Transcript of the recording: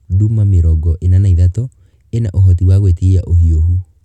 Nduma 43(mĩrongo ĩna na ithatũ) ĩna ũhoti wa gwĩtiria ũhiũhu.